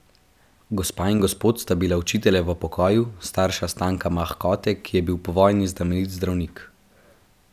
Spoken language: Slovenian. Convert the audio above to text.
Gospa in gospod sta bila učitelja v pokoju, starša Stanka Mahkote, ki je bil po vojni znamenit zdravnik.